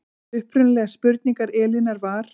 Upprunaleg spurning Elínar var